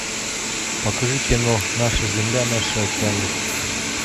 покажи кино наша земля наши океаны